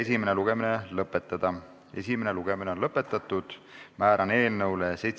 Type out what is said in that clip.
Esimene lugemine on lõpetatud, määran eelnõu 757 muudatusettepanekute esitamise tähtajaks k.a 7. veebruari kell 17.15.